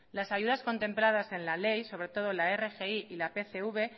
las ayudas contempladas en la ley sobre todo la rgi y la pcv